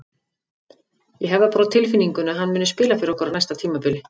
Ég hef það bara á tilfinningunni að hann muni spila fyrir okkur á næsta tímabili.